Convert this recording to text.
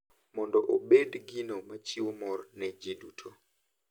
Mondo obed gino machiwo mor ne ji duto.